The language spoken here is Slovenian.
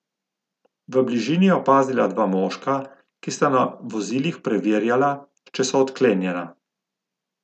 V bližini je opazila dva moška, ki sta na vozilih preverjala, če so odklenjena.